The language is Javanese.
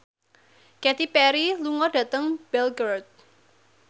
Katy Perry lunga dhateng Belgorod